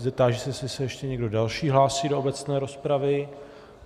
Táži se, jestli se ještě někdo další hlásí do obecné rozpravy.